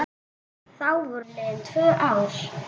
Þá voru liðin tvö ár.